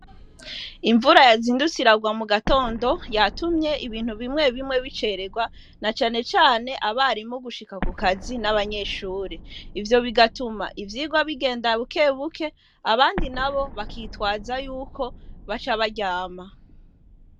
Imvura yazindutse iragwa mugatondo yatumye ibintu bimwe bimwe bicererwa, na cane cane abarimu gushika ku kazi n'abanyeshure. Ivyo bigatuma ivyigwa bigenda bukebuke, abandi nabo bakitwaza yuko baca baryama.